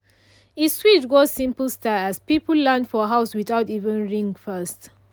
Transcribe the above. e switch go simple style as people land for house without even ring first.